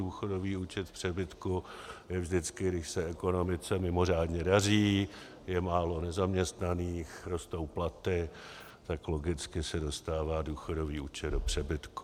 Důchodový účet v přebytku je vždycky, když se ekonomice mimořádně daří, je málo nezaměstnaných, rostou platy - tak logicky se dostává důchodový účet do přebytku.